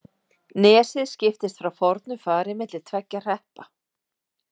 Nesið skiptist frá fornu fari milli tveggja hreppa.